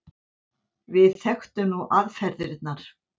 Við þekktum nú aðferðirnar.